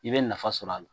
I bɛ nafa sɔrɔ a la